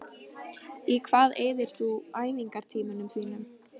Í hvað eyðir þú æfingartímanum þínum?